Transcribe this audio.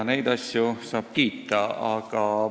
Neid asju saab kiita.